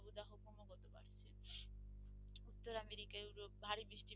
উত্তর America Europe ভারী বৃষ্টি